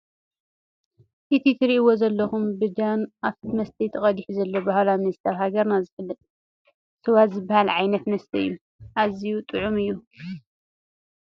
እቲ ትርእይዎ ዘለኹም ብጆክን ኣፍቲ መስተይ ተቀዲሑ ዘሎ ባህላዊ መስተ ኣብ ሃገርና ዝፍለጥ ስዋ ዝባሃል ዓይነት መስተ እዩ። አዝዩ ጥዑም እዩ።